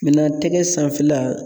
tɛgɛ sanfɛla